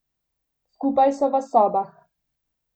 Skupaj so v sobah.